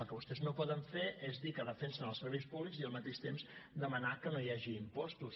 els que vostès no poden fer és dir que defensen els serveis públics i al mateix temps demanar que no hi hagi impostos